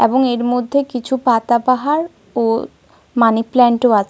এবং এর মধ্যে কিছু পাতাবাহার ও মানি প্ল্যান্ট -ও আছে।